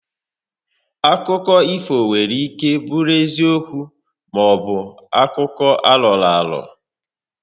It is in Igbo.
Akụkọ ifo nwere ike bụrụ eziokwu maọbụ akụkọ aroraro